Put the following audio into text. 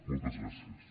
moltes gràcies